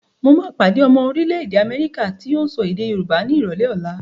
Mo máa pàdé ọmọ orílẹ̀-èdè Amẹ́ríkà tó ń sọ èdè Yorùbá ni ìrọ̀lẹ́ ọ̀la.